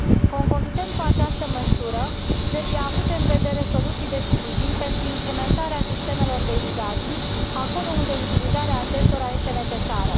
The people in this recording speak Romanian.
Concomitent cu această măsură, trebuie avute în vedere soluții de sprijin pentru implementarea sistemelor de irigații acolo unde utilizarea acestora este necesară.